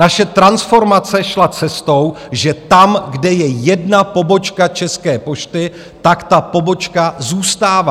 Naše transformace šla cestou, že tam, kde je jedna pobočka České pošty, tak ta pobočka zůstává.